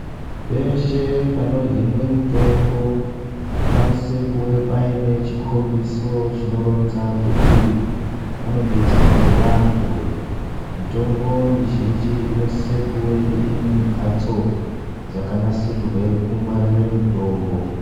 Peshe panohinwe mutombo, panosiswe kunge paine chikombiso chinoronze kuti panodetserwe vantu. Mitombo mizhinji inosisa kunwe ine mhatso dzakanasirirwe kungwarire mutombo.